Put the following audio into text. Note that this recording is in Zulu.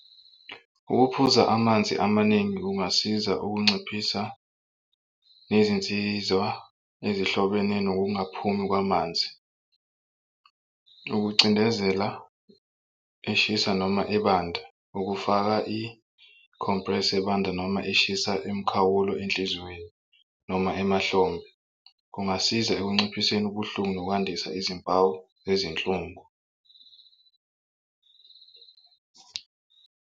Ukuphuza amanzi amaningi kungasiza ukunciphisa nezinsiza ezihlobene nokungaphumi kwamanzi. Ukucindezela eshisa noma ebanda ukufaka i-compress ebanda noma eshisa imikhawulo enhliziweni noma emahlombe kungasiza ekunciphiseni ubuhlungu nokwandisa izimpawu zezinhlungu.